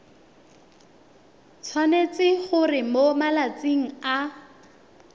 tshwanetse gore mo malatsing a